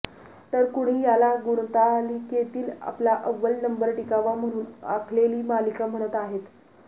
तर कुणी याला गुणतालिकेतील आपला अव्वल नंबर टिकावा म्हणून आखलेली मालिका म्हणत आहेत